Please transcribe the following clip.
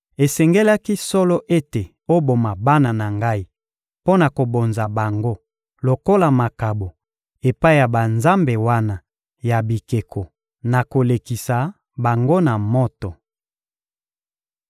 Esengelaki solo ete oboma bana na Ngai mpo na kobonza bango lokola makabo epai ya banzambe wana ya bikeko, na kolekisa bango na moto!